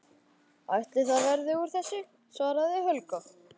Ætli það verði úr þessu, svaraði Helga.